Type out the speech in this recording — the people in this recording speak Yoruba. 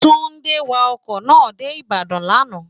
túndé wa ọkọ̀ náà dé ìbàdàn lánàá